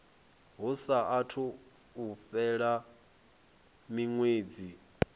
hu saathu u fhela miṅwedzi